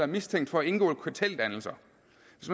mistænkt for at indgå i karteldannelser